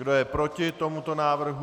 Kdo je proti tomuto návrhu?